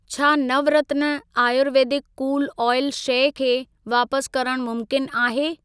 छा Navratna Ayurvedic cool oil शइ खे वापस करण मुमकिन आहे?